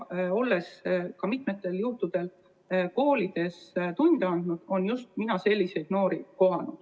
Olen mitmel korral ka koolides tunde andnud ja kohanud seal just selliseid noori.